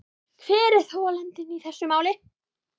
Hver er þolandinn í þessu máli.